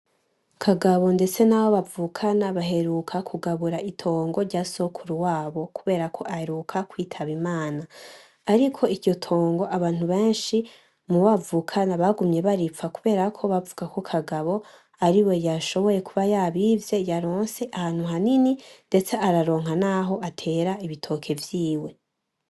KAGABO ndetse nabo bavukana baheruka kugabura itongo rya sokuru wabo kuberako aheruka kwitaba Imana, ariko iryo tongo abantu benshi mubo bavukana bagumye baripfa kuberako bavugako KAGABO ariwe yashoboye kuba yabivye yaronse ahantu hanini ndetse araronka naho atera ibitoke vyiwe.